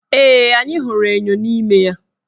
Ee, anyị hụrụ enyo n' ime ya.